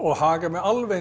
haga mér alveg eins